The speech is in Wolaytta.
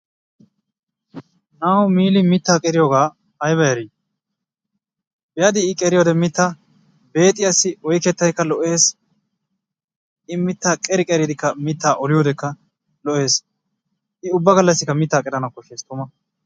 Na'awu Miili mittaa qeriyogaa ayba eri be'adii I qeriyode mittaa? Beexiyassi oyqqettaykka lo''ees i mittaa qeri qeriddikka mittaa olliyodekka lo''ees. I ubba gallassikka mittaa qerana koshshees tuma.